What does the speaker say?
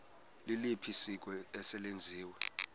liliphi isiko eselenziwe